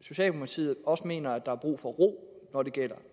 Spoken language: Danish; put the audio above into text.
socialdemokratiet også mener at der er brug for ro når det gælder